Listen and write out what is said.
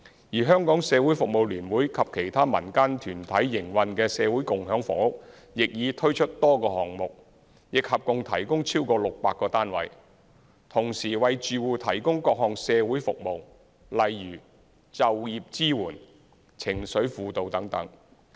而社聯及其他民間團體營運的社會共享房屋亦已推出多個項目，亦合共提供超過600個單位，同時為住戶提供各項社會服務，例如就業支援、情緒輔導等。